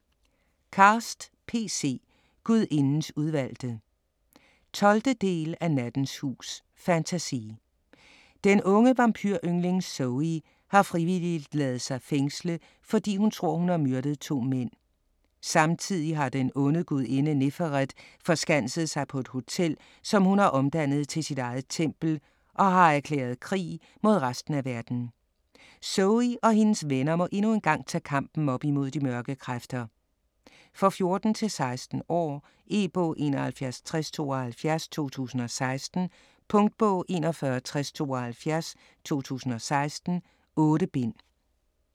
Cast, P. C.: Gudindens udvalgte 12. del af Nattens hus. Fantasy. Den unge vampyr-yngling Zoey har frivilligt ladet sig fængsle, fordi hun tror, hun har myrdet 2 mænd. Samtidig har den onde gudinde Neferet forskanset sig på et hotel, som hun har omdannet til sit eget tempel - og har erklæret krig mod resten af verden. Zoey og hendes venner må endnu engang tage kampen op imod de mørke kræfter. For 14-16 år. E-bog 716072 2016. Punktbog 416072 2016. 8 bind.